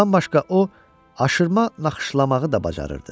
Bundan başqa o, aşırma naxışlamağı da bacarırdı.